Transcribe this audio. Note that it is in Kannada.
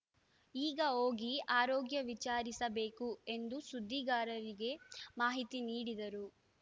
ಈಗ ಹೋಗಿ ಆರೋಗ್ಯ ವಿಚಾರಿಸಬೇಕು ಎಂದು ಸುದ್ದಿಗಾರರಿಗೆ ಮಾಹಿತಿ ನೀಡಿದರು